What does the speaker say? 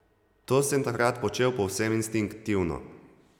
To sem takrat počel povsem instinktivno.